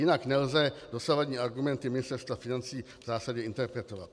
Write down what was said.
Jinak nelze dosavadní argumenty Ministerstva financí v zásadě interpretovat.